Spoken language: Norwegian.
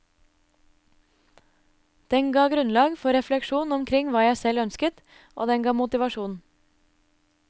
Den ga grunnlag for refleksjon omkring hva jeg selv ønsket, og den ga motivasjon.